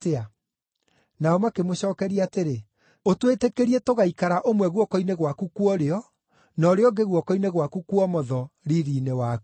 Nao makĩmũcookeria atĩrĩ, “Ũtwĩtĩkĩrie tũgaikara ũmwe guoko-inĩ gwaku kwa ũrĩo na ũrĩa ũngĩ guoko-inĩ gwaku kwa ũmotho riiri-inĩ waku.”